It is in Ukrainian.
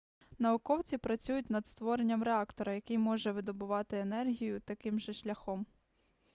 науковці працюють над створенням реактора який може видобувати енергію таким же шляхом